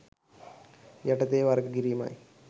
යටතේ වර්ග කිරීමයි.